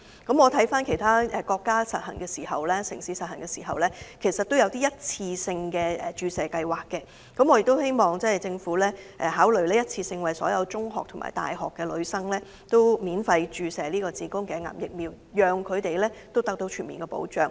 鑒於其他國家或城市是實施一次性的注射計劃，因此我希望政府也可考慮一次性的免費為全港所有中學及大學女生注射子宮頸癌疫苗，給予她們全面保障。